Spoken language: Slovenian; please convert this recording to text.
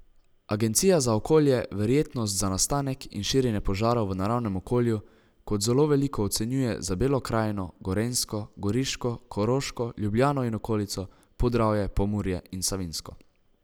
Agencija za okolje verjetnost za nastanek in širjenje požarov v naravnem okolju kot zelo veliko ocenjuje za Belo krajino, Gorenjsko, Goriško, Koroško, Ljubljano in okolico, Podravje, Pomurje in Savinjsko.